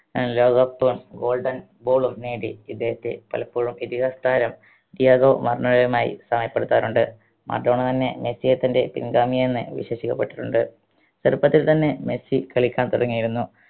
ഏർ ലോക cup ഉം golden ball ഉം നേടി ഇദ്ദേഹത്തെ പലപ്പോഴും ഇതിഹാസ താരം ഡിയാഗോ മറഡോണയുമായി സാമ്യപ്പെടുത്താറുണ്ട് മറഡോണ തന്നെ മെസ്സിയെ തൻറെ പിൻഗാമി എന്ന് വിശേഷിക്കപ്പെട്ടിട്ടുണ്ട് ചെറുപ്പത്തിൽ തന്നെ മെസ്സി കളിക്കാൻ തുടങ്ങിയിരുന്നു